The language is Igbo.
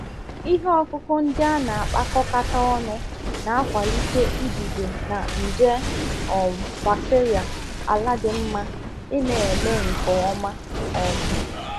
Ihe ọkụkụ ndị a na-akpakọkata ọnụ na-akwalite idide na nje um bacteria ala dị mma ịna-eme nke ọma. um